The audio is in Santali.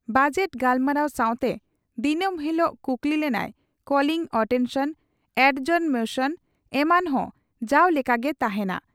ᱵᱚᱡᱮᱴ ᱜᱟᱞᱢᱟᱨᱟᱣ ᱥᱟᱣᱛᱮ ᱫᱤᱱᱚᱢ ᱦᱤᱞᱚᱜ ᱠᱩᱠᱞᱤᱼᱞᱟᱹᱱᱟᱹᱭ, ᱠᱚᱞᱤᱝ ᱚᱴᱮᱱᱥᱚᱱ, ᱟᱰᱡᱚᱨᱱᱢᱚᱥᱚᱱ ᱮᱢᱟᱱ ᱦᱚᱸ ᱡᱟᱣ ᱞᱮᱠᱟᱼᱜᱮ ᱛᱟᱦᱮᱸᱱᱟ ᱾